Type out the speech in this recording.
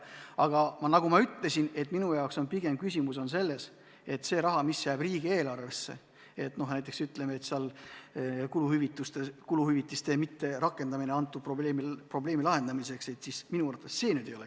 Aga nagu ma ütlesin, minu jaoks on küsimus pigem selles, et see raha, mis jääb riigieelarvesse, kui kuluhüvitisi ei rakendata, minu arvates küll lahendus ei ole.